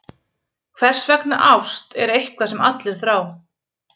Hversvegna ást er eitthvað sem allir þrá.